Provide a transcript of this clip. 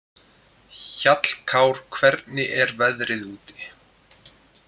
Hjallkár, hvernig er veðrið úti?